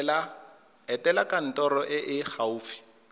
etela kantoro e e gaufi